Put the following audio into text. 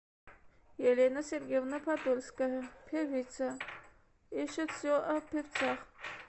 елена сергеевна подольская певица ищет все о певцах